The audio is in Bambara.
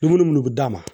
Dumuni munnu bi d'a ma